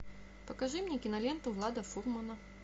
покажи мне киноленту влада фурмана